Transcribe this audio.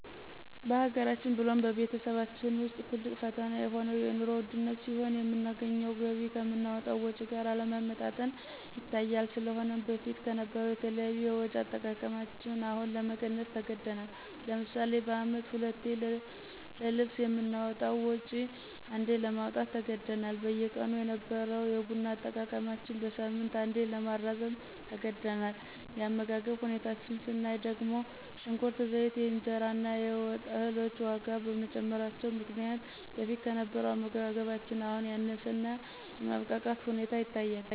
በሀገራችን ብሎም በቤተሰባችን ውስጥ ትልቅ ፈተና የሆነው የንሮ ውድነት ሲሆን የምናገኘው ገቢ ከምናወጣው ወጭ ጋር አለመመጣጠን ይታያል። ስለሆነም በፊት ከነበረው የተለያዩ የወጭ አጠቃቀማችን አሁን ለመቀነስ ተገዳል። ለምሳሌ በአመት ሁለቴ ለልብስ የምናወጣውን ወጭ አንዴ ለማውጣት ተገደናል። በየቀኑ የነበረው የቡና አጠቃቀማችን በሳምንት አንዴ ለማራዘም ተገደናል። የአመጋገብ ሁኔታችን ስናይ ደግሞ ሽንኩርት፣ ዘይት፣ የእንጀራ እና የወጥ እህሎች ዋጋ በመጨመራቸው ምክንያት በፊት ከነበረው አመጋገባችን አሁን ያነሰ እና የማብቃቃት ሁኔታ ይታያል።